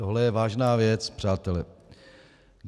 Toto je vážná věc, přátelé.